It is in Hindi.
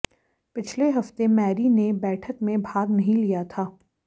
पिछले हफ्ते मैरी ने बैठक में भाग नहीं लिया था